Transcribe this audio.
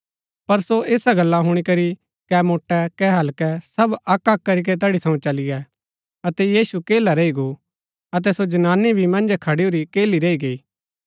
पर सो ऐसा गल्ला हुणी करी कै मोट्टै कै हल्कै सब अक्क अक्क करीके तैड़ी थऊँ चली गै अतै यीशु अकेला रैई गो अतै सो जनानी भी मन्जै खडूरी अकेली रैई गई